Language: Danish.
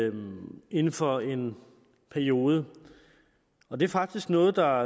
inden inden for en periode og det er faktisk noget der